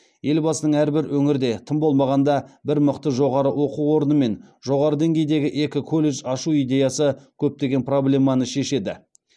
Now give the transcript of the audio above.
елбасының әрбір өңірде тым болмағанда бір мықты жоғары оқу орны мен жоғары деңгейдегі екі колледж ашу идеясы көптеген проблеманы шешеді